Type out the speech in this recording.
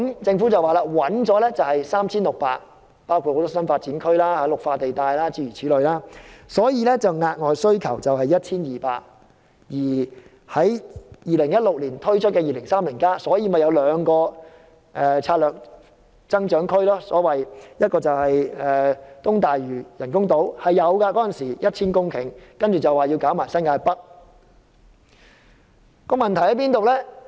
政府說已找到 3,600 公頃土地，包括多個新發展區和綠化地帶等，所以額外需要 1,200 公頃土地，而在2016年推出的《香港 2030+》報告，便提出兩個策略增長區，一個是東大嶼人工島，當時估計是要 1,000 公頃土地，之後再說要包括新界北。